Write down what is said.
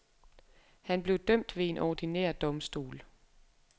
Han blev dømt ved en ordinær domstol.